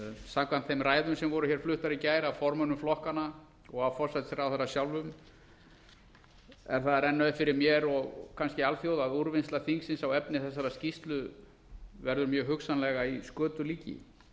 samkvæmt þeim ræðum sem voru hér fluttar í gær af formönnum flokkanna og af forsætisráðherra sjálfum er það að renna upp fyrir mér og alþjóð að úrvinnsla þingsins á efni þessarar skýrslu verður mjög hugsanlega í skötulíki